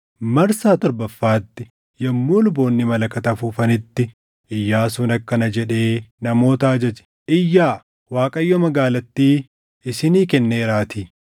Marsaa torbaffaatti yommuu luboonni malakata afuufanitti Iyyaasuun akkana jedhee namoota ajaje; “Iyyaa! Waaqayyo magaalattii isinii kenneeraatii!